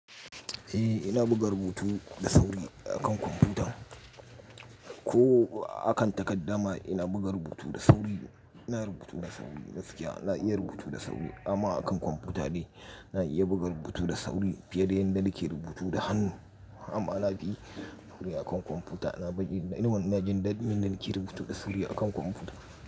Eh ina buga rubutu da sauri akan kwamfuta ko akan takadda ma ina buga rubutu da sauri. Ina rubutu da sauri gaskiya na iya rubutu da sauri amma akan kwamfuta ne na iya buga rubutu da sauri fiye da yadda nake rubutu da hannu. Amma na fi sauri akan kwamfuta. Na baje ni kuma na jin daɗin yadda nake rubutu da sauri akan kwamfuta.